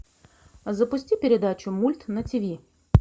запусти передачу мульт на тиви